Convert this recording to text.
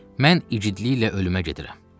mən igidliklə ölümə gedirəm.